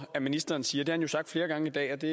at ministeren siger det han jo sagt flere gange i dag og det